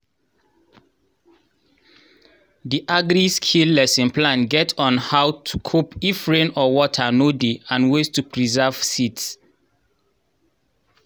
the agri-skill lesson plan get on how to cope if rain or water no dey and ways to preserve seeds